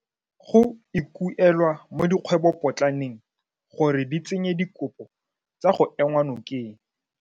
Go ikuelwa mo dikgwebopotlaneng gore di tsenye dikopo tsa go enngwa nokeng.